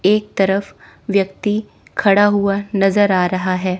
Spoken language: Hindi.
एक तरफ व्यक्ति खड़ा हुआ नजर आ रहा है।